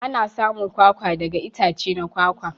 Ana samun kwakwa daga itace na kwakwa.